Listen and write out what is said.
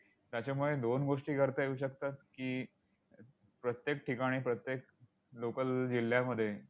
त्याच्यामुळे दोन गोष्टी करता येऊ शकतात की, प्रत्येक ठिकाणी प्रत्येक local जिल्ह्यामध्ये